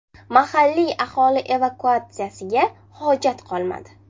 Mahalliy aholi evakuatsiyasiga hojat qolmadi.